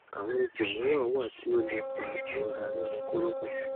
awọn ipo miiran wa ti o le fa irora ninu koropon